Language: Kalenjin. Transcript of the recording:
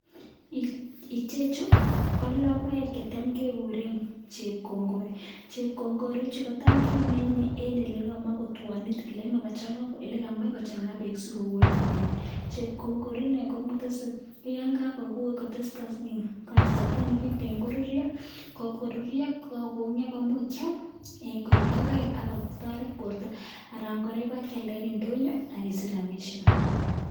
Ichechu ko logoek chetam kekuuren chepkongoorii. Chepkongoori ichu kotam kemine en elekamach kotuonit ele kamach kochangaa beek sikowoit inendet, chepkoongoorii ini koibe kasartaa nekiten koruryoo ak yon kakokongioo koimuch kiam koik logoek ak kotoret bortoo. Anan kora ibakialdaa en indonyoo ak kesich rabisiek.